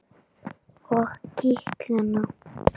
Og kitla hana.